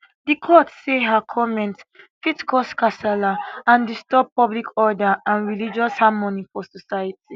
di court say her comments fit cause kasala and disturb public order and religious harmony for society